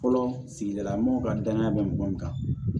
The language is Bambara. Fɔlɔ sigila mɔgɔw ka danaya bɛ mɔgɔ min kan